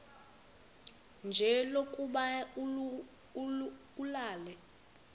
nje lokuba ulale